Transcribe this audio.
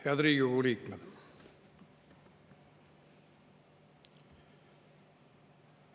Head Riigikogu liikmed!